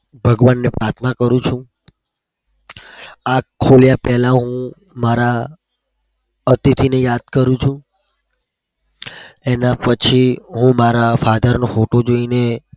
ભગવાનને પ્રાથના કરું છું. આંખ ખોલ્યા પેલા મારા અતિથીને યાદ કરું છું. એનાં પછી મારા father નો photo